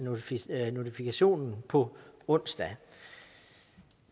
notifikationen på onsdag